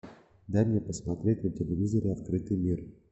дай мне посмотреть на телевизоре открытый мир